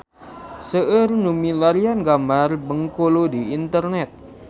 Seueur nu milarian gambar Bengkulu di internet